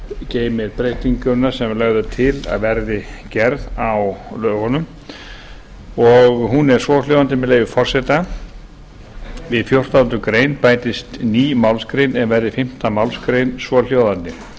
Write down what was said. geymir breytinguna sem lögð er til að verði gerð á lögunum hún er svo hljóðandi með leyfi forseta við fjórtándu greinar bætist ný málsgrein er verði fimmtu málsgrein svohljóðandi